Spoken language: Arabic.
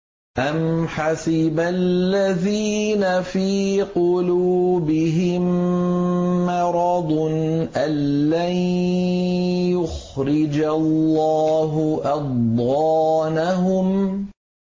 أَمْ حَسِبَ الَّذِينَ فِي قُلُوبِهِم مَّرَضٌ أَن لَّن يُخْرِجَ اللَّهُ أَضْغَانَهُمْ